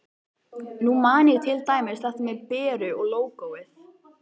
Nú man ég til dæmis þetta með Beru og lógóið.